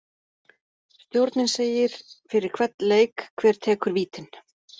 Stjórinn segir fyrir hvern leik hver tekur vítin.